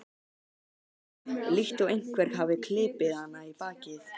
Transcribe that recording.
auka, líkt og einhver hafi klipið hana í bakið.